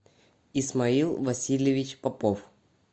исмаил васильевич попов